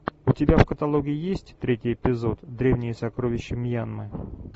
у тебя в каталоге есть третий эпизод древние сокровища мьянмы